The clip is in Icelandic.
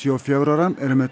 og fjögurra ára eru með